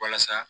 Walasa